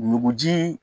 Nuguji